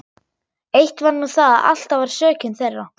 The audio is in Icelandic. Eitt var nú það að alltaf var sökin þeirra.